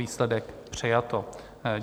Výsledek: přijato.